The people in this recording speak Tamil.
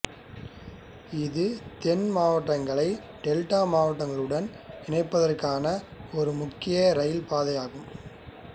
இது தென் மாவட்டங்களை டெல்டா மாவட்டங்களுடன் இணைப்பதற்கான ஒரு முக்கிய இரயில் பாதையாகும்